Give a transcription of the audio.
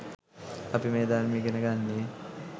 අපි මේ ධර්මය ඉගෙන ගන්නේ